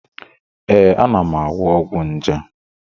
Ee, ana m aṅụ ọgwụ nje